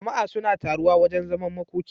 Jama a suna taruwa wajan zaman makoki